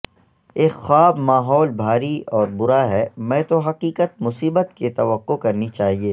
ایک خواب ماحول بھاری اور برا ہے میں تو حقیقت مصیبت کی توقع کرنی چاہئے